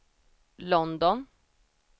London